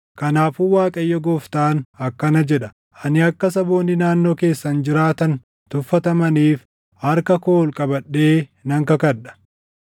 Kanaafuu Waaqayyo Gooftaan akkana jedha: Ani akka saboonni naannoo keessan jiraatani tuffatamaniif harka koo ol qabadhee nan kakadha.